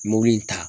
Mobili in ta